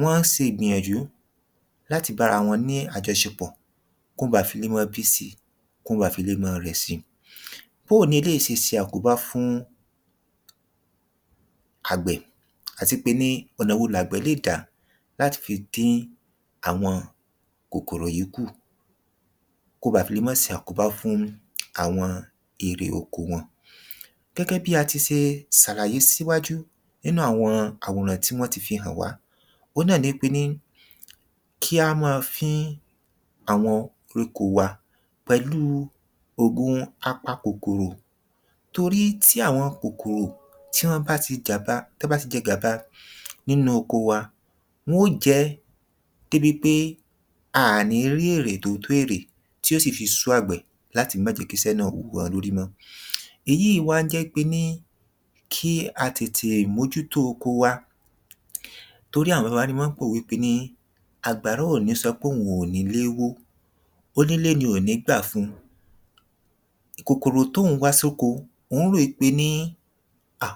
wọ́n ń se ìgbìnyànjú láti bára wọn ní àjọṣepọ̀ kán án bà fi le mọ́ bí síi kán án bà fi le mọ́ rẹ̀ si bóoni eléìí sese àkóbá fún àgbẹ̀ àtipé ní ọ̀nà wo làgbẹ́ lè dá lati fi dín àwọn kòkòrò yịí kù kó ba fì le mọ́ se àkóbá fún àwọn ere oko wọn gẹ́gẹ́ bí a ti se sàlàye síwájú nínú àwọn àwòrán tí wọ́n ti fi hàn wá òun náà ni í pé ní kí á mọ fín àwọn koríko wa pẹ̀lú òògùn a-pa-kòkòrò torí tí àwọn kòkòrò tí án bá ti gàba tán bá ti jẹ gàba nínú oko wa wọ́n ó jẹ ẹ́ débi pé a à ní rí èrè tò tó èrè tí ò sì fi sú àgbẹ̀ láti mọ́ jẹ̀ kí isẹ́ náà wú a lórí mọ́ èyí wá ń jẹ́ pé ní kí a tètè mójútó oko wa torí àwọn baba wa ní mọ́ ń pòwe pé ní àgbàrá ò ní sọ póun ò nílé wó onílé ni ò ní gbà fún un kòkòrò tó òún wá sóko òun rò í pé ní hà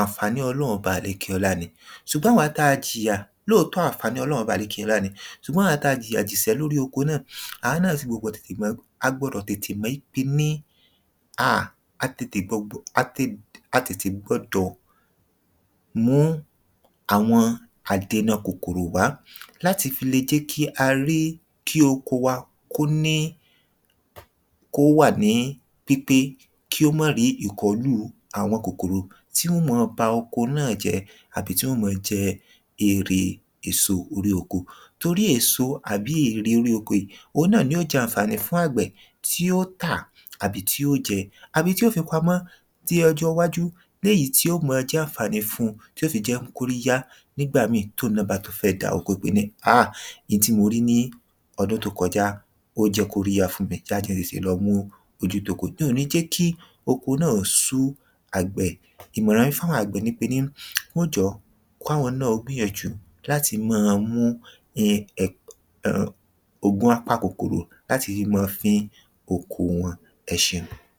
àǹfàní ọlọrún ọba àlekèọlá ni sùgbọ́n àwa tá a jìyà lóòótọ́ àǹfàní ọlọrún ọba àlekèọlá ni sùgbọ́n àwa tá a jìyà jìsẹ́ lóri oko náà à a náà fi gbọ̀gbọ̀ tètè mọ a gbọdọ̀ tètè mọ í pe ní háà a tètè gbọgbọ̀ a tètè gbọdọ̀ mú un àwọn àdena kòkòrò wá láti fi le jẹ́ kí a rí kí oko wa kó ní kó ò wà ní pípé kí ó mọ̀ rí ìkọ́lù àwọn kòkòrò tí wọn ó mọ ba oko náà jẹ́ àbí tí wọ́n o mọ jẹ erè èso orí oko torí èso àbí ère orí oko ìí oun náà ni óò jẹ àǹfààní fún àgbẹ̀ tí ó tà àbí tí ó jẹ àbí tí o fi pamọ́ di ọjọ́ iwájú léyìí tí ó mọ jẹ́ àǹfààní fún un tí ó fi jẹ́ kórí yá nígbà míìn tóun náà bá tún fẹ́ dá oko pè ní háà n tí mo rí ní ọdún tó kọjá ó jẹ́ koríyá fún mi oju tóko ìí ni ò ní jẹ́ kí oko náà ó sú àgbẹ̀ ìmọ̀ràn i fáwọn àgbẹ̀ ni pe ní kí wọ́n jọ̀ọ́ kó awọn náà ó gbìyànjú láti mọ́ an mú um ògùn a-pa-kòkòrò láti rí mọ́ an fin oko wọn ẹ ṣeun